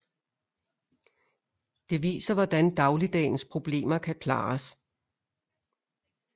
Det viser hvordan dagligdagens problemer kan klares